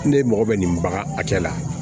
Ne mɔgɔ bɛ nin bagan a cɛ la